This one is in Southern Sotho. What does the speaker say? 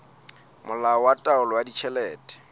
molao wa taolo ya ditjhelete